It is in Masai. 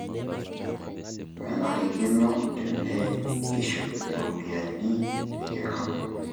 Menarikkino tenekishuk iropiyian niking'amu